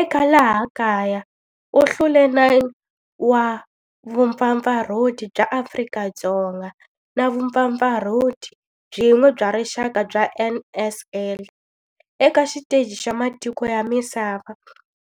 Eka laha kaya u hlule 9 wa vumpfampfarhuti bya Afrika-Dzonga na vumpfampfarhuti byin'we bya rixaka bya NSL. Eka xiteji xa matiko ya misava,